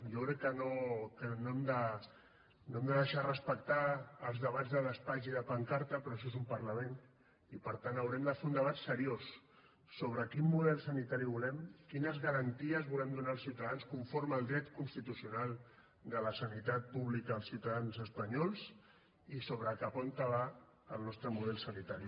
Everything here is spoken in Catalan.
jo crec que no hem de deixar de respectar els debats de despatx i de pancarta però això és un parlament i per tant haurem de fer un debat seriós sobre quin model sanitari volem quines garanties volem donar als ciutadans conforme al dret constitucional de la sanitat pública als ciutadans espanyols i sobre cap on va el nostre model sanitari